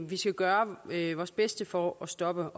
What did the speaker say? vi skal gøre vores bedste for at stoppe